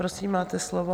Prosím, máte slovo.